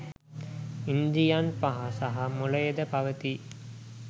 ඉන්ද්‍රියන් පහ සහ මොළයද පවතී